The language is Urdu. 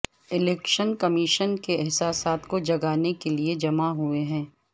الیکشن کمیشن کے احساسات کو جگانے کے لیے جمع ہوئے ہیں